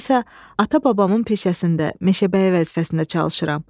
Mən isə ata-babamın peşəsində, meşəbəyi vəzifəsində çalışıram.